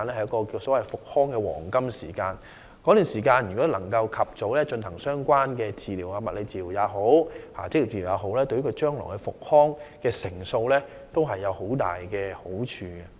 如果工友可以在這段時間及早接受相關治療，包括物理治療和職業治療，這對他們康復的機會有莫大幫助。